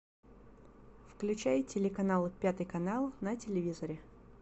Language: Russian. включай телеканал пятый канал на телевизоре